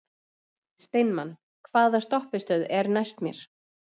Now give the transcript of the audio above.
Steinmann, hvaða stoppistöð er næst mér?